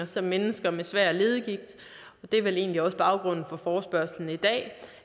som mennesker med svær leddegigt og det er vel egentlig også baggrunden for forespørgslen i dag